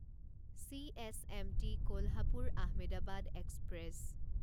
CSMT Kolhapur Ahmedabad express